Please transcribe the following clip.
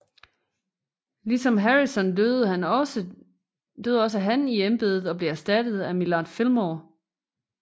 Ligesom Harrison døde han også han i embedet og blev erstattet af Millard Fillmore